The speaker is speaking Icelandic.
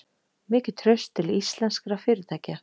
Mikið traust til íslenskra fyrirtækja